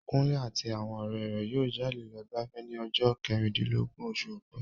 Kunle àti àwọn ọ̀rẹ́ rẹ̀ yóò jáde lọ gbafẹ́ ní ọjọ́ kẹrìndínlọ́gbọ̀n oṣù ọ̀pẹ.